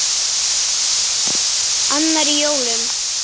Annar í jólum.